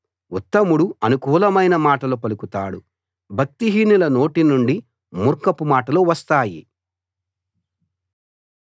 ఉత్తముడు అనుకూలమైన మాటలు పలుకుతాడు భక్తిహీనుల నోటి నుండి మూర్ఖపు మాటలు వస్తాయి